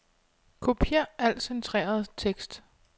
Kopier al centreret tekst.